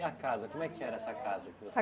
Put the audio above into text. E a casa, como é que era essa casa?